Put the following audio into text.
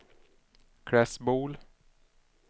Klässbol